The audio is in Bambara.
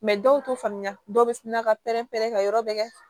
dɔw t'o faamuya dɔw bɛ sin na ka pɛrɛn pɛrɛn ka yɔrɔ bɛ kɛ